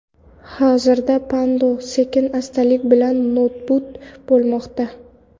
Hozirda Pando sekin-astalik bilan nobud bo‘lmoqda.